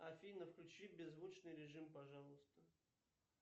афина включи беззвучный режим пожалуйста